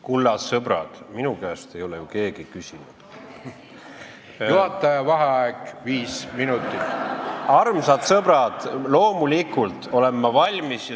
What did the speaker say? Kulla sõbrad, minu käest ei ole ju keegi küsinudki.